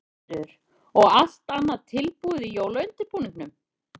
Sigríður: Og allt annað tilbúið í jólaundirbúningnum?